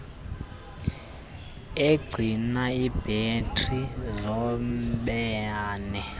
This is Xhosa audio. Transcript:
egcina ibhetri zombane